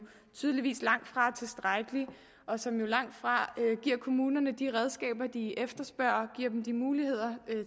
tydeligvis langtfra er tilstrækkelig og som langtfra giver kommunerne de redskaber de efterspørger de muligheder